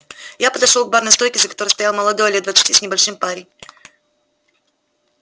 я подошёл к барной стойке за которой стоял молодой лет двадцати с небольшим парень